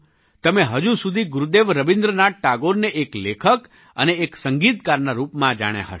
તમે હજુ સુધી ગુરુદેવ રબીન્દ્રનાથ ટાગોરને એક લેખક અને એક સંગીતકારના રૂપમાં જાણ્યા હશે